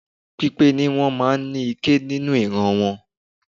Pípé ní wọ́n máa ń ní ike nínú ìran wọn.